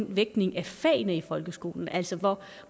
vægtningen af fagene i folkeskolen altså hvor